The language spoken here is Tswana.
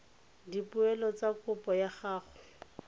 dipoelo tsa kopo ya gago